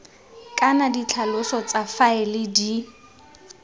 kana ditlhaloso tsa faele di